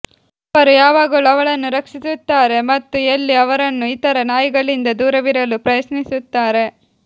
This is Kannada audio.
ಅವರು ಯಾವಾಗಲೂ ಅವಳನ್ನು ರಕ್ಷಿಸುತ್ತಾರೆ ಮತ್ತು ಎಲ್ಲೀ ಅವರನ್ನು ಇತರ ನಾಯಿಗಳಿಂದ ದೂರವಿರಲು ಪ್ರಯತ್ನಿಸುತ್ತಾರೆ